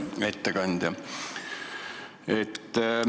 Hea ettekandja!